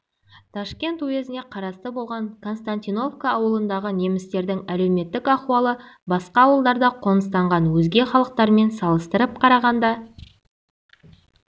ташкент уезіне қарасты болған константиновка ауылындағы немістердің әлеуметтік ахуалы басқа ауылдарда қоныстанған өзге халықтармен салыстырып қарағанда